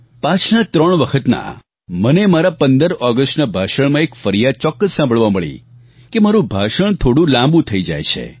પાછલા ત્રણ વખતના મને મારા 15 ઓગસ્ટના ભાષણમાં એક ફરિયાદ ચોક્કસ સાંભળવા મળી કે મારું ભાષણ થોડું લાંબુ થઈ જાય છે